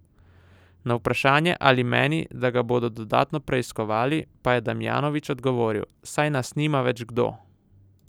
Na vprašanje, ali meni, da ga bodo dodatno preiskovali, pa je Damjanovič odgovoril: "Saj nas nima več kdo.